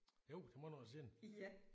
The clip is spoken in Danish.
Jo det er mange år siden